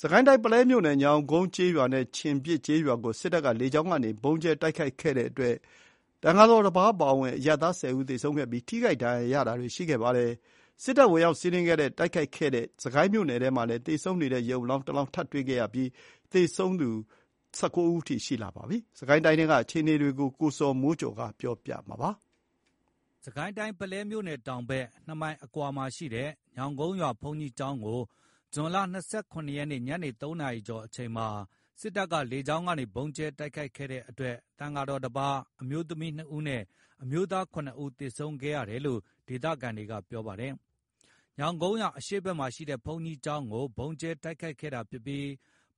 စစ်ကိုင်းတိုင်း၊ ပုလဲမြို့နယ်၊ ညောင်ကုန်းကျေးရွာနဲ့ ချင်ပြစ်ကျေးရွာကို စစ်တပ်က လေကြောင်းကနေ ဗုံးကြဲတိုက်ခိုက်ခဲ့တဲ့အတွက် သံဃာတော်တပါးအပါအဝင် အရပ်သား ၁၀ ဦးသေဆုံးခဲ့ပြီး ထိခိုက် ဒဏ်ရာရသူတွေလည်းရှိတယ်လို့ ဒေသခံတွေပြောပါတယ်။ စစ်ကိုင်းမြို့နယ်ထဲမှာလည်း သေဆုံးနေတဲ့ ရုပ်အလောင်း ၁ လောင်း ထပ်တွေ့ခဲ့ပြီး အခုရက်ပိုင်းအတွင်း စစ်ကိုင်းမှာ သေဆုံးသူ ၁၉ ဦးအထိ ရှိခဲ့ပါတယ်။ စစ်ကိုင်းတိုင်းထဲက အခြေအနေသတင်းပေးပို့တာကို ကိုဇော်မိုးကျော်ပြောပြမှာပါ။ စစ်ကိုင်းတိုင်း၊ ပုလဲမြို့တောင်ဘက် ၂ မိုင်အကွာမှာရှိတဲ့ ညောင်ကုန်းရွာ ဘုန်းကြီးကျောင်းကို ဇွန် ၂၇ ရက် ညနေ ၃ နာရီကျော်အချိန်မှာ စစ်တပ်က လေကြောင်းကနေ ဗုံးကြဲတိုက်ခိုက်ခဲ့တဲ့အတွက် သံဃာတော် ၁ ပါး အမျိုးသမီး ၂ ဦးနဲ့ အမျိုးသား ၇ ဦး သေဆုံးခဲ့ရတယ်လို့ ဒေသခံတွေပြောပါတယ်။ ညောင်ကုန်းရွာ အရှေ့ဖက်မှာရှိတဲ့ ဘုန်းကြီးကျောင်းကို ဗုံးကြဲတိုက်ခိုက်ခဲ့တာဖြစ်ပြီး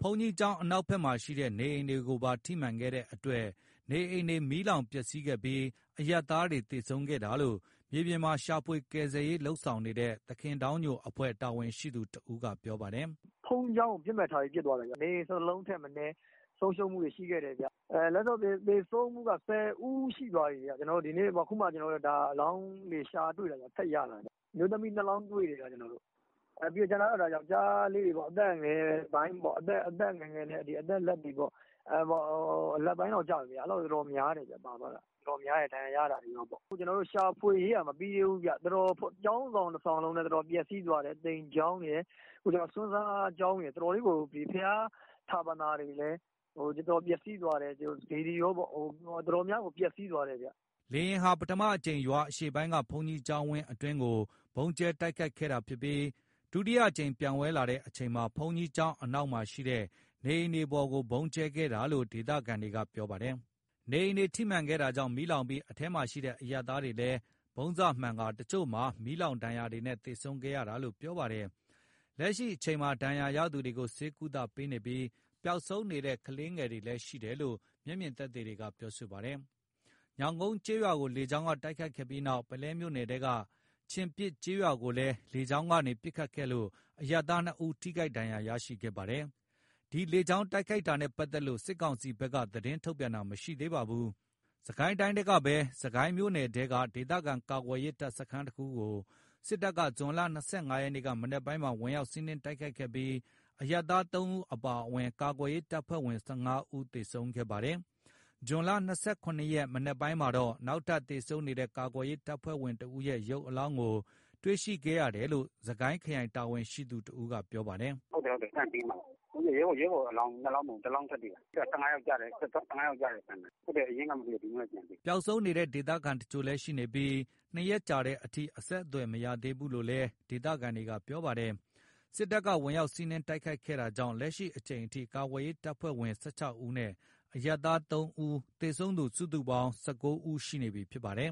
ဘုန်းကြီးကျောင်းအ နောက်မှာ ရှိတဲ့ နေအိမ်တွေကိုပါ ထိမှန်ခဲ့တဲ့အတွက် နေအိမ်တွေ မီးလောင်ပျက်စီးခဲ့ပြီး အရပ်သားတွေ သေဆုံးခဲ့တာလို့ မြေပြင်မှာ ရှာဖွေကယ်ဆယ်ရေး လုပ်ဆောင်နေတဲ့ သခင်ဒေါင်းညိုအဖွဲ့ တာဝန်ရှိသူတဦးက ပြောပါတယ်။ “ဘုန်းကြီးကျောင်းကို ပစ်မှတ်ထားပြီး ပစ်သွားတာ။ နေအိမ် ၁၁ လုံးထက်မနည်း ပျက်စီးဆုံးရှုံးမှုတွေရှိခဲ့တယ်။ လက်ရှိ သေဆုံးမှုက ၁၀ ဦးရှိသွားပြီ ကျွန်တော်တို့လည်း အခုမှ အလောင်းတွေရှာတွေ့တာခင်ဗျ။ ထပ်ရတာ ခင်ဗျ။ အမျိုးသမီး ၂ လောင်းတွေ့တယ်။ ကျန်တာက ယောက်ကျားလေးတွေ အသက်ငယ်ပိုင်း၊ အသက်ငယ် ငယ်နဲ့ အသက်လတ်တွေပေါ့၊ အဲ့ဒါတွေက များတယ် ပါသွားတာ။ ဒဏ်ရာ ရတာတွေကော တော်တော်များ တယ်။ အခုရှာဖွေရေးကမပြီးသေးဘူး။ ကျောင်းဆောင်တဆောင်လုံးလည်း ပျက်စီးသွားတယ်။ သိမ်ကျောင်းရယ်၊ ဆွမ်းစားကျောင်းရယ်၊ တော်တော်ကြီးကို ဘုရားဌာပနာတွေလည်း ပျက်စီးသွားတယ်။ စေတီကောပေါ့။ တော်တော်များများကို ပျက်စီးသွားတယ်။” လေယာဉ်ဟာ ပထမအကြိမ် ရွာအရှေ့ပိုင်းက ဘုန်းကြီးကျောင်းဝင်းအတွင်းကို ဗုံးကြဲတိုက်ခိုက်ခဲ့တာဖြစ်ပြိး ဒုတိယအကြိမ် ပျံဝဲလာတဲ့အချိန်မှာ ဘုန်းကြီးကျောင်း အနောက်မှာ ရှိတဲ့ နေအိမ်တွေပေါ်ကို ဗုံးကြဲခဲ့တာလို့ ဒေသခံတွေပြောပါတယ်။ နေအိမ်တွေထိမှန်ခဲ့တာကြောင့် မီးလောင်ပြီး အထဲမှာရှိတဲ့အရပ်သားတွေလည်း ဗုံးစမှန်ကာ အချို့မှာ မီးလောင်ဒဏ်ရာတွေနဲ့ သေဆုံးခဲ့ရတာလို့လည်း ပြောပါတယ်။ လက်ရှိအချိန်မှာ ဒဏ်ရာရရှိသူတွေကို ဆေးကုသမှုပေးနေပြီး ပျောက်ဆုံးနေတဲ့ ကလေးငယ်တွေလည်း ရှိတယ်လို့ အဲဒီမှာမျက်မြင် ရှိနေသူတွေကပြောပါတယ်။ ညောင်ကုန်းကျေးရွာကို လေကြောင်းက တိုက်ခိုက်ပြီးနောက် ပုလဲမြို့နယ်ထဲက ချင်ပြစ်ကျေးရွာကိုလည်း လေကြောင်းကနေ ပစ်ခတ်ခဲ့လို့ အရပ်သား ၂ ဦးထိခိုက်ဒဏ်ရာ ရခဲ့တယ်လို့ ပြောပါတယ်။ဒီလေကြောင်း တိုက်ခိုက်တာနဲ့ ပတ်သက်လို့ စစ်ကောင်စီဘက်က သတင်းထုတ်ပြန်တာမရှိသေးပါဘူး။ စစ်ကိုင်းတိုင်းထဲကပဲ စစ်ကိုင်းမြို့နယ်ထဲက ဒေသခံကာကွယ်ရေး တပ်စခန်းကို စစ်တပ်က ဇွန် ၂၅ ရက်က မနက်ပိုင်းမှာ ဝင်ရောက်စီးနင်းတိုက်ခိုက်ခဲ့ပြီး အရပ်သား ၃ ဦးအပါအဝင် ကာကွယ်ရေး တပ်ဖွဲ့ဝင် ၁၅ ဦး သေဆုံးခဲ့ပါတယ်။ ဇွန် ၂၇ ရက် မနက်ပိုင်းမှာတော့ နောက်ထပ်သေဆုံးနေတဲ့ ကာကွယ်ရေး တပ်ဖွဲ့ဝင် ၁ ဦးရဲ့ ရုပ်အလောင်းကို တွေ့ရှိခဲ့ရတယ်လို့ စစ်ကိုင်းခရိုင် တာဝန်ရှိသူ တဦးက ပြောပါတယ်။ “ဟုတ်တယ် Camp ဘေးမှာ ရဲဘော်အလောင်း ၂ လောင်းမဟုတ်ဘူး ၁ လောင်း ထပ်တွေ့တာ။ ၁၅ ယောက်ကျတဲ့ စခန်းနားမှာ အရင်ကမတွေ့တာ ဒီနေ့မှ ပြန်တွေ့တာ။” ပျောက်ဆုံးနေတဲ့ ဒေသခံအချို့လည်း ရှိနေပြီး ပျောက်ဆုံးတာ ၂ ရက် ကြာတဲ့အထိ အဆက်အသွယ် မရရှိသေးဘူးလို့လည်း ဒေသခံတွေက ပြောပါတယ်။ စစ်တပ်က ဝင်ရောက်စီးနင်း တိုက်ခိုက်တာကြောင့် လက်ရှိအချိန်ထိ ကာကွယ်ရေး တပ်ဖွဲ့ဝင် ၁၆ ဦးနဲ့ အရပ်သား ၃ ဦး သေဆုံးသူ စုစုပေါင်း ၁၉ ဦး ရှိနေပြီဖြစ်ပါတယ်